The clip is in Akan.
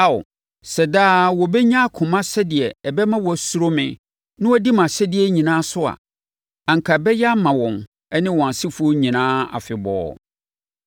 Ao, sɛ daa wɔbɛnya akoma sɛdeɛ ɛbɛma wɔasuro me na wɔadi mʼahyɛdeɛ nyinaa so a, anka ɛbɛyɛ ama wɔn ne wɔn asefoɔ nyinaa afebɔɔ.